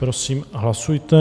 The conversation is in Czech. Prosím, hlasujte.